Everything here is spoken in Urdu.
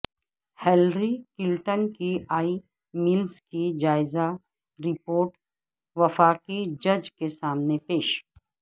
ہلری کلنٹن کی ای میلز کی جائزہ رپورٹ وفاقی جج کے سامنے پیش